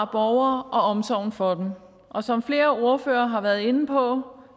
borgere og omsorgen for dem som flere ordførere har været inde på